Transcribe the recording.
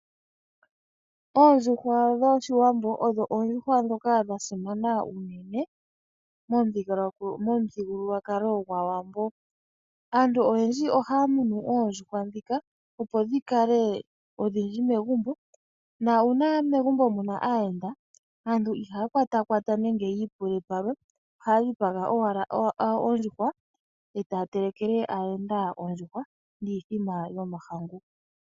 Oondjuhwa dhOshiwambo odho oondjuhwa ndhoka dha simana unene momuthigululwakalo gwAawambo. Aantu oyendji ohaya munu oondjuhwa ndhika, opo dhi kale odhindji megumbo. Nuuna megumbo mu na aayenda aantu ihaya kwatakwata nenge yi ipule palwe ohaya dhipaga owala ondjuhwa e taya telekele aayenda ondjuhwa niithima yomahangu.